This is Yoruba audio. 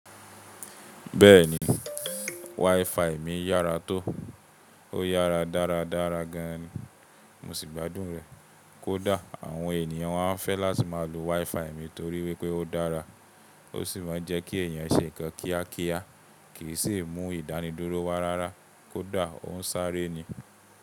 Bẹ́ẹ̀ni, wifi mi yára tó, ó yára dáradára gan ni. Mo sì gbádùn rẹ̀. Kódà àwọn ènìyàn wá ń fẹ́ láti máa lo wifi mi torí wípé ó dára. Ó sì máa ń jẹ́ kí èèyàn ṣe nǹkan kíákíá kì í sì mú ìdánidúró wa rárá. Kódà ó ń sáré ni.